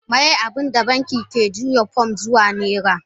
Miye abinda banki ke juya pounds zuwa naira?